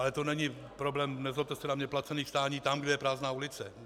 Ale to není problém, nezlobte se na mě, placených stání tam, kde je prázdná ulice.